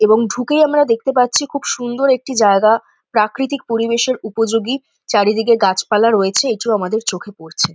এবং ঢুকেই আমরা দেখতে পাচ্ছি খুব সুন্দর একটি জায়গা প্রাকৃতিক পরিবেশের উপযোগী চারিদিকে গাছপালা রয়েছে এটিও আমাদের চোখে পরছে ।